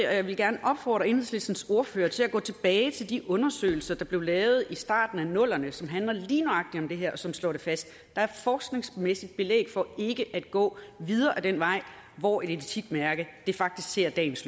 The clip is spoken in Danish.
og jeg vil gerne opfordre enhedslistens ordfører til at gå tilbage til de undersøgelser der blev lavet i starten af nullerne som handler om lige nøjagtig det her og som slår det fast der er forskningsmæssigt belæg for ikke at gå videre ad den vej hvor et etikmærke faktisk ser dagens